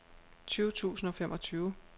tyve tusind og femogtyve